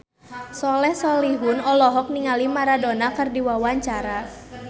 Soleh Solihun olohok ningali Maradona keur diwawancara